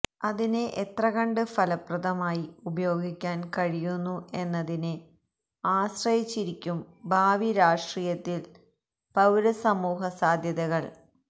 അതിനെ എത്രകണ്ട് ഫലപ്രദമായി ഉപയോഗിക്കാന് കഴിയുന്നു എന്നതിനെ ആശ്രയിച്ചിരിക്കും ഭാവി രാഷ്ട്രീയത്തില് പൌരസമൂഹ സാധ്യതകള്